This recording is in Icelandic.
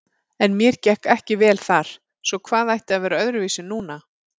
En mér gekk ekki vel þar, svo hvað ætti að vera öðruvísi núna?